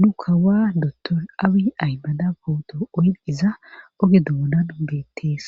nu kawaa dotoy awi aymada bowuto oyn iza oge doonan geettees.